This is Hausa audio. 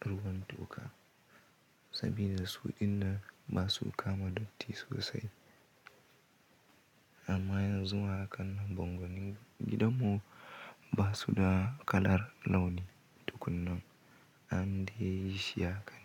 ruwan toka sabida su dinnan ba su kama datti sosai. Amma yanzu a hakan nan bango ni gidanmu ba su da kalaar launi tukunan, an dai yi shi haka ne.